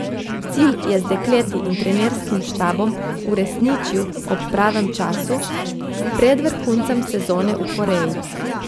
Cilj je z dekleti in trenerskim štabom uresničil ob pravem času, pred vrhuncem sezone v Koreji.